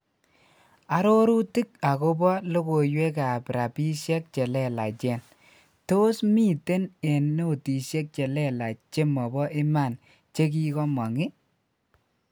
Arorutik akopo lokoiywekab rapishek chelelachen; tos miten en notishek chelelach jemobo iman jekikomong i